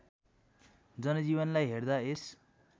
जनजीवनलाई हेर्दा यस